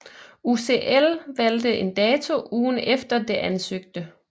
UCI valgte en dato ugen efter det ansøgte